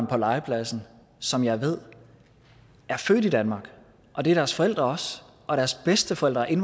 på legepladsen som jeg ved er født i danmark og det er deres forældre også og deres bedsteforældre er